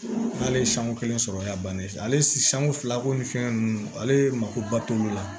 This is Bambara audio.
N'ale ye sanko kelen sɔrɔ a y'a bannen ale sanko fila ko ni fɛn ninnu ale makoba t'olu la